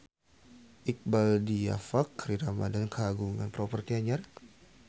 Iqbaal Dhiafakhri Ramadhan kagungan properti anyar